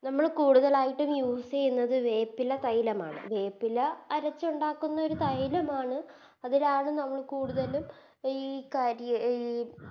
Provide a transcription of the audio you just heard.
നമ്മള് കൂടുതലായിട്ടും Use ചെയ്യുന്നത് വേപ്പില തൈലമാണ് വേപ്പില അരച്ചുണ്ടാക്കുന്ന ഒരു തൈലമാണ് അതിലാദ്യം നമ്മള് കൂടുതലും ഈ കരി ഈ